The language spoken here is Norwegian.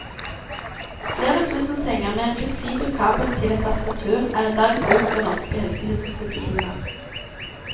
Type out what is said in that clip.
Flere tusen senger med en fleksibel kabel til et tastatur er i dag i bruk ved norske helseinstitusjoner.